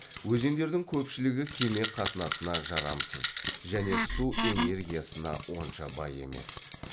өзендердің көпшілігі кеме қатынасына жарамсыз және су энергиясына онша бай емес